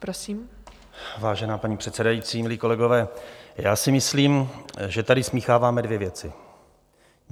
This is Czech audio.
Vážená paní předsedající, milí kolegové, já si myslím, že tady smícháváme dvě věci.